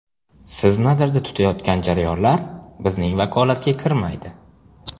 Siz nazarda tutayotgan jarayonlar bizning vakolatga kirmaydi.